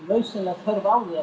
nauðsynlega þörf á því